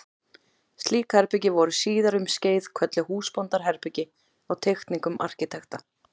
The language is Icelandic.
Slík herbergi voru síðar um skeið kölluð húsbóndaherbergi á teikningum arkitekta.